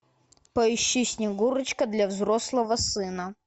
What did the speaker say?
поищи снегурочка для взрослого сына